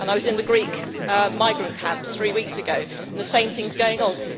I was in the Greek migrant camps three weeks ago and the same thing is going on.